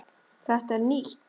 Þetta er nýtt!